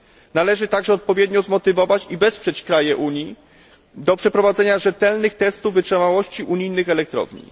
Należy także odpowiednio umotywować i wesprzeć państwa Unii do przeprowadzenia rzetelnych testów wytrzymałości unijnych elektrowni.